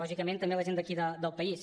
lògicament també la gent d’aquí del país